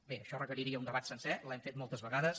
bé això requeriria un debat sencer l’hem fet moltes vegades